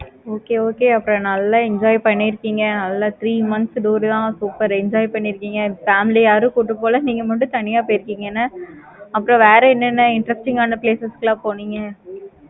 okay okay அப்பறம் நல்ல enjoy பண்ணிருக்கீங்க. three months tour தான் super enjoy பண்ணிருக்கீங்க. family யாரையும் கூப்பிட்டு போல. நீங்க மட்டும் தனியா போயிருக்கிங்கனா? அப்பறம் வேற என்ன என்ன interesting ஆனா place க்கு எல்லாம் போனீங்க?